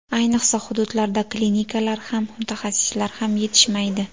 Ayniqsa, hududlarda klinikalar ham, mutaxassislar ham yetishmaydi.